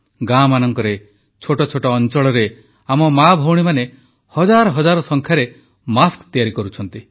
ଗାଁମାନଙ୍କରେ ଛୋଟ ଛୋଟ ଅଂଚଳରେ ଆମ ମାଭଉଣୀମାନେ ହଜାର ହଜାର ସଂଖ୍ୟାରେ ମାସ୍କ ତିଆରି କରୁଛନ୍ତି